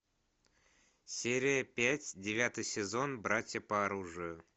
серия пять девятый сезон братья по оружию